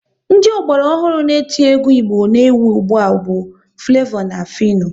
Ndị ọgbara ọhụrụ n'eti egwu Igbo na ewu ụgbụa bu Flevo na Fịno